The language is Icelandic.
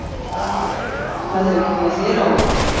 Hvað hefur komið þér á óvart?